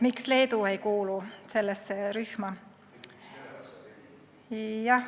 Miks Leedu ei kuulu sellesse rühma?